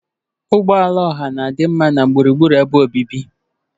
Ụgbọ ala ọha na-adị mma na gburugburu ebe obibi.